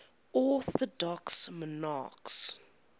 orthodox monarchs